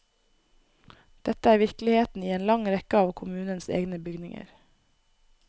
Dette er virkeligheten i en lang rekke av kommunens egne bygninger.